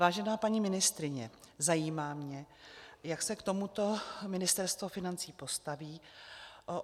Vážená paní ministryně, zajímá mě, jak se k tomuto Ministerstvo financí postaví.